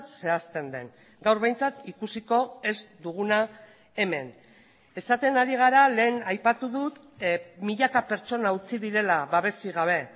zehazten den gaur behintzat ikusiko ez duguna hemen esaten ari gara lehen aipatu dut milaka pertsona utzi direla babesik gabe